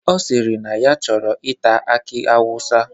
Ọ sịrị na ya chọrọ ita aki awụsa.